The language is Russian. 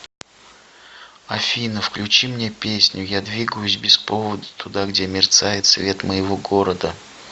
афина включи мне песню я двигаюсь без повода туда где мерцает свет моего города